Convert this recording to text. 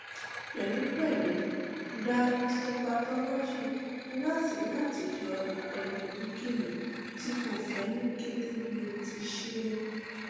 pẹlupẹlu gba histopathology lati lati yọ ikolu eyikeyi ti ko fẹ ni kete bi o ti ṣee